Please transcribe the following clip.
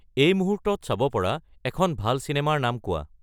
এই মুহূৰ্তত চাব পৰা এখন ভাল চিনেমাৰ নাম কোৱা